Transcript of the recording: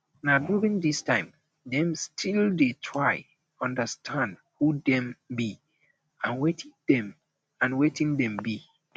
na during this time dem still dey try um understand um who dem be and wetin dem and wetin dem be